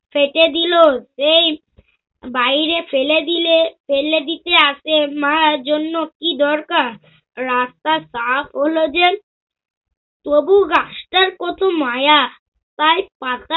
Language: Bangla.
কেটে দিল সেই বাইরে ফেলে দিলে ফেলে দিতে আসে মা এজন্য কি দরকার? রাস্তা সাফ হল যে। তবু গাছটার কত মায়া। তার পাতা